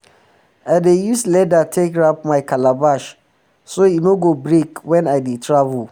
i dey use leather take wrap my calabash so e no go break wen i dey travel